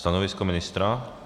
Stanovisko ministra?